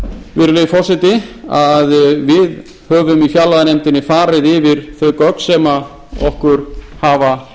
virðulegi forseti að við höfum í fjárlaganefndinni farið yfir þau gögn sem okkur hafa